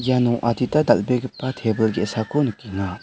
iano adita dal·begipa tebil ge·sako nikenga.